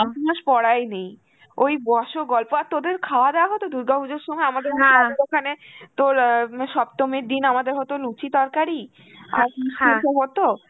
একমাস পড়াই নেই, ওই বস গল্প আর তোদের খাওয়া দাওয়া হতো দুর্গা পূজার সময়? আমাদের ওখানে, তোর আঁ উম সপ্তমীর দিন আমাদের হতো লুচি তরকারি আর হত,